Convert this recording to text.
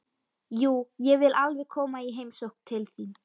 Jú, ég vil alveg koma í heimsókn til þín.